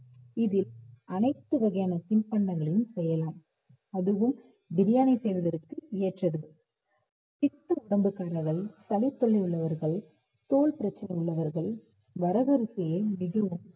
இதில் அனைத்து வகையான தின்பண்டங்களையும் செய்யலாம் அதுவும் பிரியாணி செய்வதற்கு ஏற்றது பித்த உடம்பு உள்ளவர்கள், சளித்தொல்லை உள்ளவர்கள், தோல் பிரச்சனை உள்ளவர்கள் வரகரிசியை மிகவும்